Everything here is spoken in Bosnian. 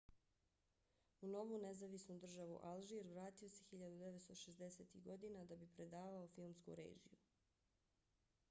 u novu nezavisnu državu alžir vratio se 1960-ih godina da bi predavao filmsku režiju